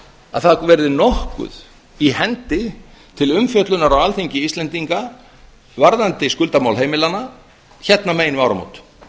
að það verði nokkuð í hendi til umfjöllunar á alþingi íslendinga varðandi skuldamál heimilanna hérna megin við áramót